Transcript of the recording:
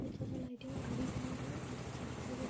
बहुत ज्यादा लाइटिंग है । घड़ी बनी हुई है । बहुत अच्छा दिखाई दे --